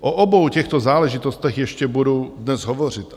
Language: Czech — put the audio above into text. O obou těchto záležitostech ještě budu dnes hovořit.